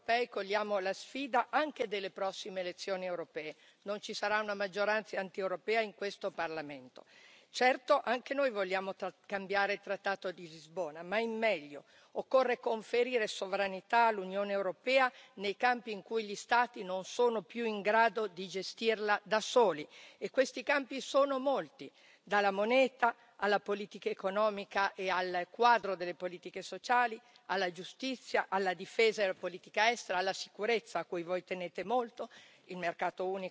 Non ci sarà una maggioranza antieuropea in questo Parlamento. Certo, anche noi vogliamo cambiare il trattato di Lisbona, ma in meglio. Occorre conferire sovranità all'Unione europea nei campi in cui gli Stati non sono più in grado di gestirla da soli e questi campi sono molti, dalla moneta, alla politica economica e al quadro delle politiche sociali, alla giustizia, alla difesa e alla politica estera, alla sicurezza, a cui voi tenete molto, e poi il mercato unico, naturalmente, l'ambiente, la protezione dalla globalizzazione.